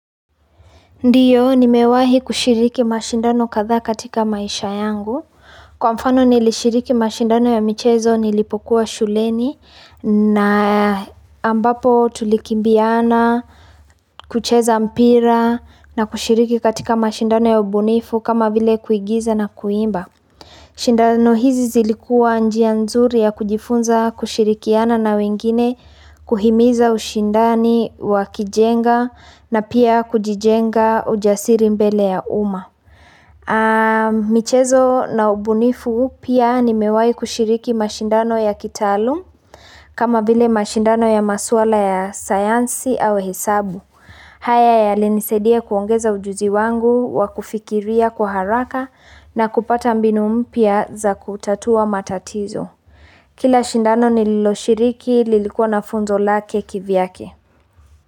Ndiyo nimewahi kushiriki mashindano katha katika maisha yangu kwa mfano nilishiriki mashindano ya michezo nilipokuwa shuleni na ambapo tulikimbiana kucheza mpira na kushiriki katika mashindano ya ubunifu kama vile kuigiza na kuimba Shindano hizi zilikua njia nzuri ya kujifunza kushirikiana na wengine kuhimiza ushindani wa kijenga na pia kujijenga ujasiri mbele ya uma. Michezo na ubunifu pia ni mewahi kushiriki mashindano ya kitalu kama vile mashindano ya maswala ya sayansi au hesabu. Haya ya linisedia kuongeza ujuzi wangu, wakufikiria kwa haraka na kupata mbinu mpia za kutatua matatizo. Kila shindano nililo shiriki lilikuwa na funzo lake kivyake.